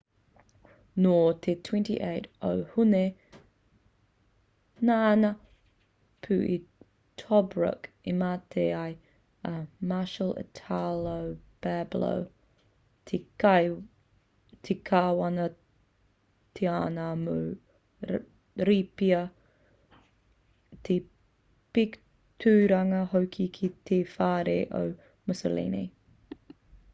nō te 28 o hune nā ngā pū i tobruk i mate ai a marshal italo balbo te kāwana-tianara mō rīpia te pik tūranga hoki ki te whare o mussolini